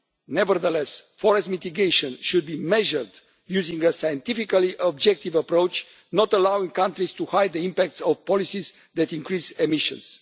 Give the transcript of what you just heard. Nevertheless, forest mitigation should be measured using a scientifically objective approach, not allowing countries to hide the impacts of policies that increase emissions.